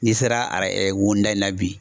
N'i sera ara wonin da in na bi